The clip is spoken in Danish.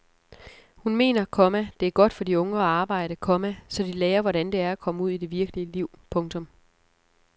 Hun mener, komma det er godt for de unge at arbejde, komma så de lærer hvordan det er at komme ud i det virkelige liv. punktum